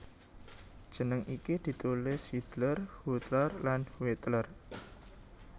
Jeneng iki ditulis Hiedler Huetler lan Huettler